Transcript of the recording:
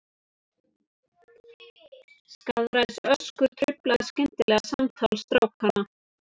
Skaðræðisöskur truflaði skyndilega samtal strákanna.